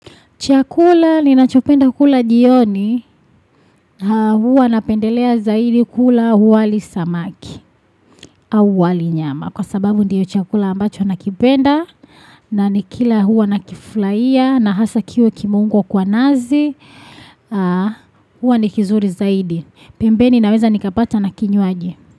Chakula ninachopenda kula jioni, huwa napendelea zaidi kula wali na samaki au wali na nyama. Kwa sababu ndiyo chakula ambacho nakipenda na nikila huwa nakiflaia na hasa kiwe kimeungwa kwa nazi, huwa nikizuri zaidi. Pembeni naweza nikapata na kinyuaji.